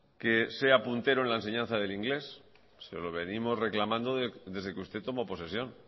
que sea puntero en la enseñanza del inglés se lo venimos reclamando desde que usted tomó posesión